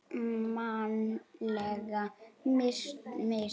Mannleg mistök?